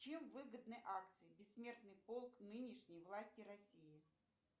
чем выгодны акции бессмертный полк нынешней власти россии